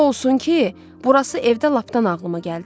O olsun ki, burası evdə lapdan ağlıma gəldi.